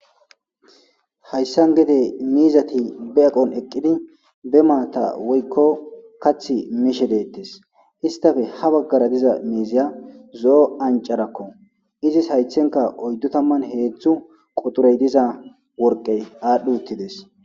hayssan gede miizati be eqon eqqidi be maata woykko kath miishe deettes istafe ha baggara diza miiziya zo7o ancarakko izis haythenka oyddu tamman heedzdzu quturey diza worqey aadhdhi uttides